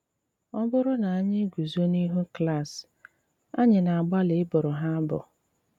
Ọ̀ bụ̀rụ̀ na ànyị̀ gùzò n’íhù klàs, ànyị̀ na-àgbàlì ị bụ̀rụ̀ ha abụ.